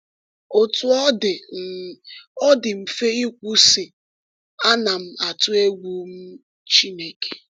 Otú ọ dị, um ọ dị mfe ikwu, sị, “Ana m atụ egwu um Chineke.”